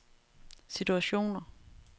situationer